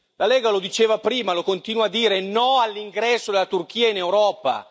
La Lega lo diceva prima e lo continua a dire no all'ingresso della Turchia in Europa!